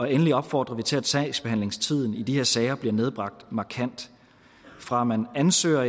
endelig opfordrer vi til at sagsbehandlingstiden i de her sager bliver nedbragt markant fra man ansøger